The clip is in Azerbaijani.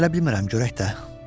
Hələ bilmirəm, görək də.